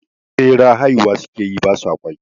Ɓeraye haihuwa sukeyi ba sa ƙwai